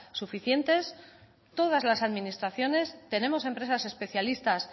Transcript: suficientes todas las administraciones tenemos empresas especialistas